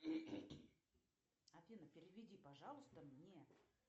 афина переведи пожалуйста мне